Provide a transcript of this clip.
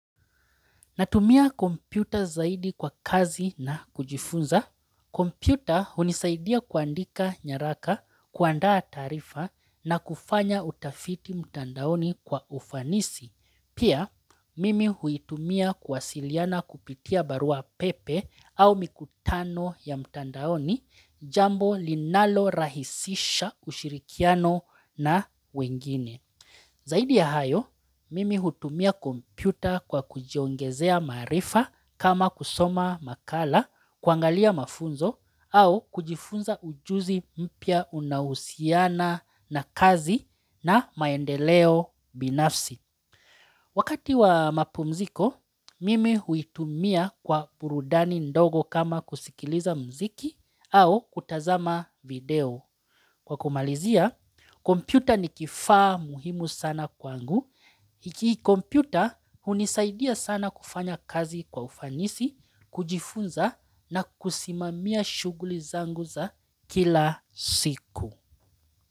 Natumia kompyuta zaidi kwa kazi na kujifunza. Kompyuta hunisaidia kuandika nyaraka, kuandaa taarifa na kufanya utafiti mtandaoni kwa ufanisi. Pia, mimi huitumia kuwasiliana kupitia barua pepe au mikutano ya mtandaoni jambo linalorahisisha ushirikiano na wengine. Zaidi ya hayo, mimi hutumia kompyuta kwa kujiongezea maarifa kama kusoma makala, kuangalia mafunzo, au kujifunza ujuzi mpya unaohusiana na kazi na maendeleo binafsi. Wakati wa mapumziko, mimi huitumia kwa burudani ndogo kama kusikiliza mziki au kutazama video. Kwa kumalizia, kompyuta ni kifaa muhimu sana kwangu. Ki kompyuta hunisaidia sana kufanya kazi kwa ufanisi, kujifunza na kusimamia shughuli zangu za kila siku.